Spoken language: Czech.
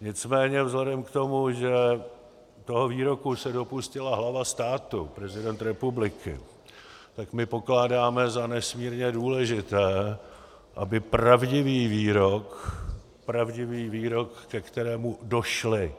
Nicméně vzhledem k tomu, že toho výroku se dopustila hlava státu, prezident republiky, tak my pokládáme za nesmírně důležité, aby pravdivý výrok, pravdivý výrok, ke kterému došly